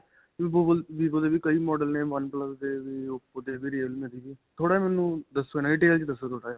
vivo ਦੇ ਵੀ ਕਈ model ਨੇ, one plus ਦੇ ਵੀ, oppo ਦੇ ਵੀ, realme ਦੇ ਵੀ, ਥੋੜਾ ਮੈਨੂੰ ਦੱਸੋ ਇਨ੍ਹਾਂ ਦਾ detail ਵਿੱਚ ਦੱਸੋ ਥੋੜਾ ਜਿਹਾ.